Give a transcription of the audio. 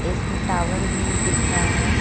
इसमें टावर भी दिख रहा है।